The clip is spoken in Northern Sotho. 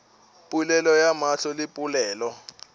polelo ya mahlo le polelo